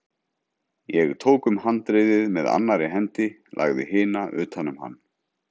Ég tók um handriðið með annarri hendi, lagði hina utan um hann.